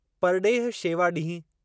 परॾेह शेवा ॾींहुं